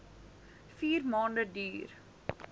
vier maande duur